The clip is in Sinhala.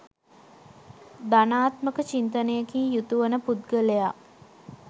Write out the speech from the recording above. ධනාත්මක චින්තනයකින් යුතු වන පුද්ගලයා